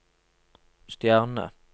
stjerne